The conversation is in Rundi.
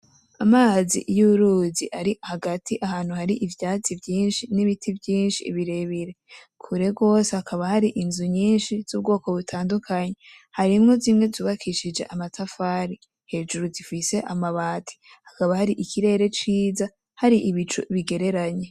Amazi y'uruzi ari hagati ahantu hari ivyatsi vyishi n'ibiti vyishi birebire kure gose hakaba hari inzu nyishi z'ubwoko butandukanye harimwo zimwe zubakishije amatafari hejuru zifise amabati hakaba hari ikirere ciza hari ibicu bigereranye.